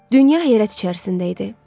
Dünya heyrət içərisində idi.